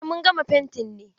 Eh, mun gama fentin ne.